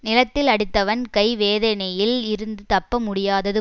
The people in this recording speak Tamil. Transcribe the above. நிலத்தில் அடித்தவன் கை வேதனையில் இருந்து தப்ப முடியாதது